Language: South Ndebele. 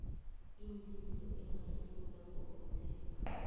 iinlilo engasungulwa ngomthetho